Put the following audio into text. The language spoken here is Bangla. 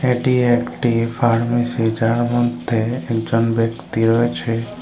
এটি একটি ফার্মেসি যার মধ্যে একজন ব্যক্তি রয়েছে।